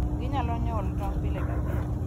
Ginyalo nyuolo tong' pile ka pile.